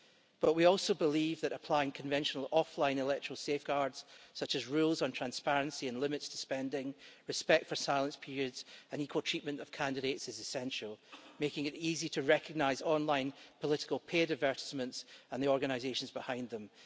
But we also believe that applying conventional offline electoral safeguards, such as rules on transparency and limits to spending, respect for silence periods and equal treatment of candidates is essential, making it easy to recognise online political paid advertisements and the organisations behind them.